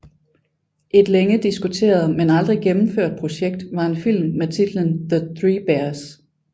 Et længe diskuteret men aldrig gennemført projekt var en film med titlen The Three Bears